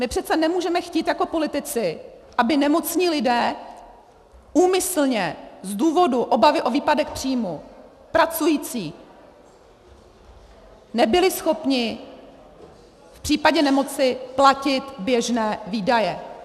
My přece nemůžeme chtít jako politici, aby nemocní lidé úmyslně z důvodu obavy o výpadek příjmu, pracující, nebyli schopni v případě nemoci platit běžné výdaje.